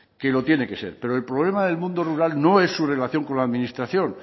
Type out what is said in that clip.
que lo tiene que ser pero el problema del mundo rural no es su relación con la administración